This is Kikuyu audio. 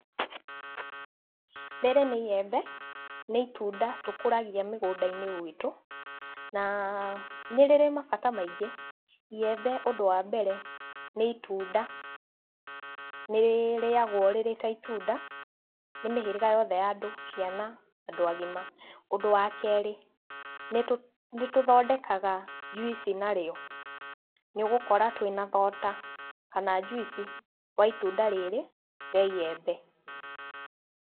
Rĩrĩ nĩ iembe, nĩ itunda tũkũragia mĩgũnda-inĩ gwitũ, na ah nĩ rĩrĩ mabata maingĩ. Iembe ũndũ wa mbere nĩ itunda nĩrĩrĩagwo rĩrĩ ta itunda nĩ mĩhĩrĩga yothe ya andũ, ciana na andũ agima. Ũndũ wa kerĩ, nĩtũ nĩtũthondekaga juici narĩo. Nĩũgũkora twĩna thota kana juici wa itunda rĩrĩ rĩa iembe.